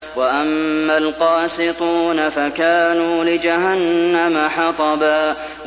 وَأَمَّا الْقَاسِطُونَ فَكَانُوا لِجَهَنَّمَ حَطَبًا